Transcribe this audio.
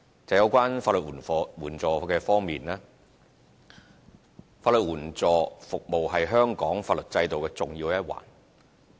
就有關法援方面，法援服務是香港法律制度的重要一環。